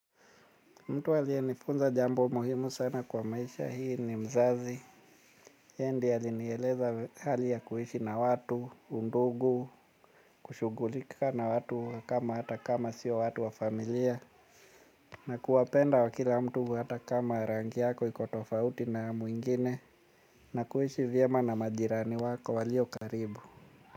Mtu aliyenifunza jambo muhimu sana kwa maisha hii ni mzazi. Yeye ndiye alinieleza hali ya kuishi na watu, undugu, kushughulika na watu kama hata kama sio watu wa familia. Na kuwapenda wa kila mtu hata kama rangi yako iko tofauti na mwingine. Na kuishi vyema na majirani wako walio karibu.